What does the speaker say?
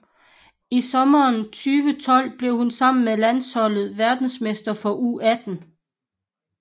I sommeren 2012 blev hun sammen med landsholdet verdensmester for U18